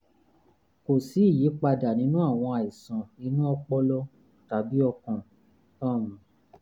kò sí ìyípadà nínú àwọn àìsàn inú ọpọlọ tàbí ọkàn um